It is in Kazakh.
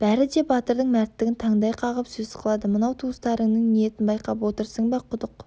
бәрі де батырдың мәрттігін таңдай қағып сөз қылады мынау туыстарыңның ниетін байқап отырсың ба құдық